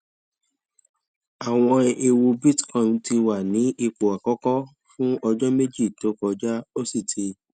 àwọn ẹwù bitcoin ti wà ní ipò àkọkọ fún ọjọ méjì tó kọjá ó sì ti